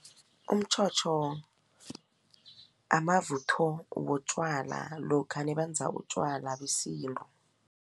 Umtjhotjho amavutho wotjwala lokha nabenza utjwala besintu.